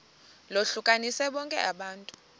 lohlukanise bonke abantu